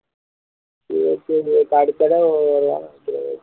சரி சரி விவேக் அடுத்த தடவை வருவான்